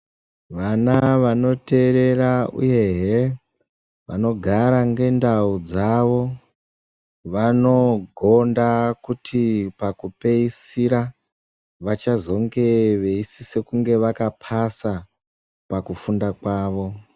Vana vanoteerera uyuhe vanogara ngendau dzavo vanogonda kuti pakupeisira vachazonge veisise kunge vakapasa pakufunda kwavo.